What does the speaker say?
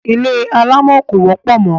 Ilé alámọ̀ kò wọ́pọ̀ mọ́.